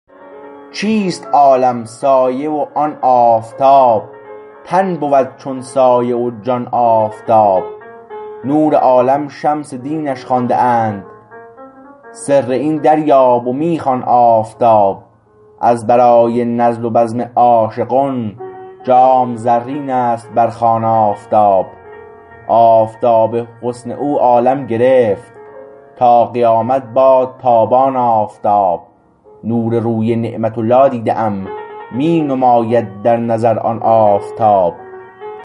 چیست عالم سایه و آن آفتاب تن بود چون سایه و جان آفتاب نور عالم شمس دینش خوانده اند سر این دریاب و می خوان آفتاب از برای نزل و بزم عاشقان جام زرین است بر خوان آفتاب آفتاب حسن او عالم گرفت تا قیامت باد تابان آفتاب نور روی نعمت الله دیده ام می نماید در نظر آن آفتاب